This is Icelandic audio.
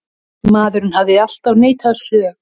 Maðurinn hefur alltaf neitað sök.